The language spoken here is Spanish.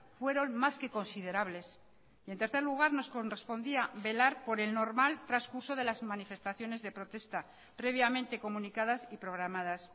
fueron más que considerables y en tercer lugar nos correspondía velar por el normal transcurso de las manifestaciones de protesta previamente comunicadas y programadas